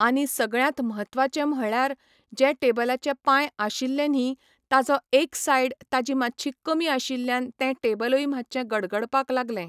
आनी सगळ्यातं म्हत्वाचे म्हळ्ळ्यार जे टेबलाचे पांय आशिल्ले न्ही ताजो एक सायड ताजी मातशी कमी आशिल्ल्यान तें टेबलूय मातशें गडगडपाक लागलें.